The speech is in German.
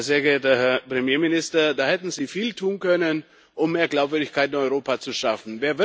Sehr geehrter Herr Premierminister, da hätten Sie viel tun können, um mehr Glaubwürdigkeit in Europa zu schaffen.